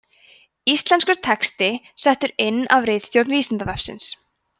íslenskur texti settur inn af ritstjórn vísindavefsins